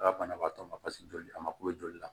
A ka banabaatɔ ma paseke joli a ma kule joli la